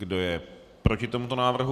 Kdo je proti tomuto návrhu?